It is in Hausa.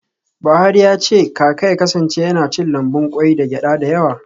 Buhari ya ce kaka ya kasance yana cin lambun kwai da gyada da yawa.